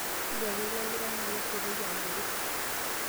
Hugo ilo likae naa kesipoki agoro